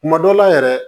Kuma dɔ la yɛrɛ